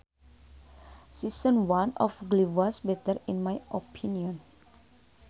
Season one of glee was better in my opinion